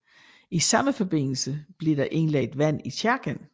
I samme forbindelse blev der indlagt vand i kirken